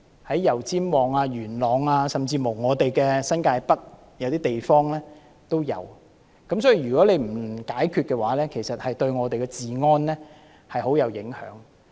在油尖旺、元朗甚至新界北的一些地方都有，所以，如果政府不解決難民問題，對香港的治安有很大影響。